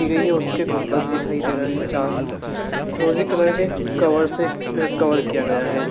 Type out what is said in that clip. की गई है उसके गुंबज़ दिखाई दे रहे हैं चार फिरोज़ी कलर के कवर से कवर किया गया है इस।